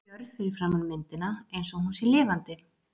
Og ég stend stjörf fyrir framan myndina einsog hún sé lifandi.